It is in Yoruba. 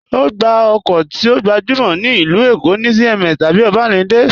Ogbá okó ti o gbajúmọ̀ ní ilú Èkó̀ ni CMS tabí Obalende.